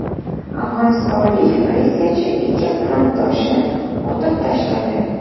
Afg‘onistonlik politsiyachi ikki xizmatdoshini otib tashladi.